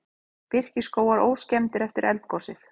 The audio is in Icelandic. Birkiskógar óskemmdir eftir eldgosið